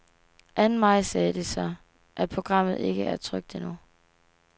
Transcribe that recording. Anden maj sagde de så, at programmet ikke er trykt endnu.